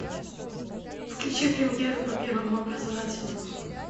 включи премьеру по первому образовательному